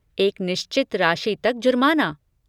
एक निश्चित राशि तक जुर्माना।